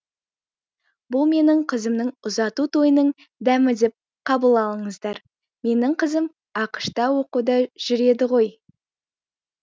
бұл менің қызымның ұзату тойының дәмі деп қабылдаңыздар менің қызым ақш та оқуда жүр еді ғой